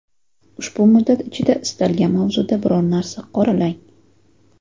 Ushbu muddat ichida istalgan mavzuda biror narsa qoralang.